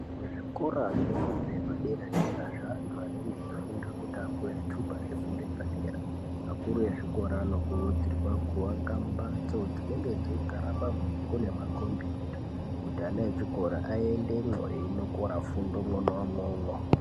Kuzvikora zvefundo yepadera-dera zveanthu anenge eifunda kuti apuwe zvithupa zvefundo yepadera. Akuru ezvikora anokurudzirwa kuaka mphatso dzinenge dzeigara mabhuku nemakhombiyuta, kuti ana echikora aendemwo einokora fundo umwomwo.